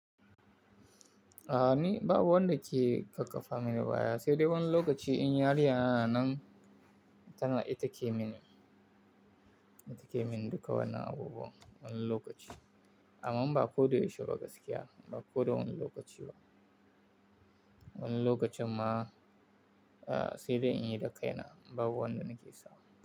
A'a ni babu wanda ke ƙaƙafa mini baya, sai dai wani lokaci in yariyana nan nan, tana ita ke min, ita ke min duka wannan abubuwan wani lokaci. Amma ba ko da yaushe ba gaskiya, ba ko da wani lokaci ba. Wani lokacin ma, eh sai dai in yi da kaina, babu wanda nake sa.